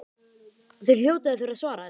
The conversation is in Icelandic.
Þið hljótið að þurfa að svara þessu?